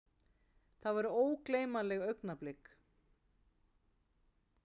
Þetta voru ógleymanleg augnablik.